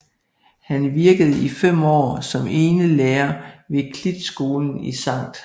Han virkede i fem år som enelærer ved Klitskolen i Skt